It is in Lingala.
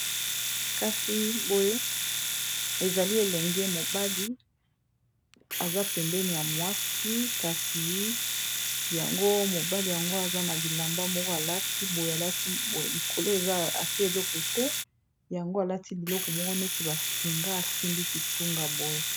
Kasi boye ezali elenge mobali aza pembeni ya mwasi kasi yango mobali yango aza na bilamba moko alati boye alati boye likolo eza alati eloko te yango alati biloko moko neti basinga asimbi kitunga boye.